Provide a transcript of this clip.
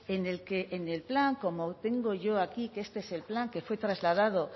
en el que en el plan como tengo yo aquí que este es el plan que fue trasladado